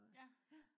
ja